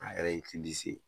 A yɛrɛ ye se